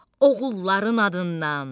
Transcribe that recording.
Oğulların adından.